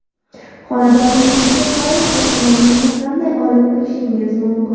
Xonadoningizga fayz va shinamlikni qanday olib kirishingiz mumkin?